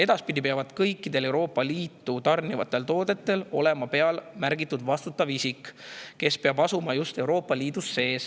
Edaspidi peab kõikidele Euroopa Liitu tarnitavatele toodetele olema peale märgitud vastutav isik, kes peab asuma just Euroopa Liidus.